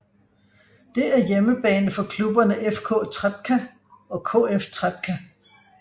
Det er hjemmebane for klubberne FK Trepča og KF Trepça